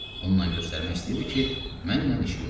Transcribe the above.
Bununla göstərmək istəyirdi ki, mənlə işi yoxdu.